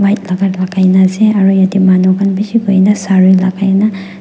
white laka lakai naase aru yatae manu khan bishi boina sare lakaina.